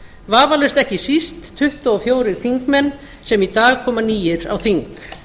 vafalaust ekki síst tuttugu og fjórir þingmenn sem í dag koma nýir á þing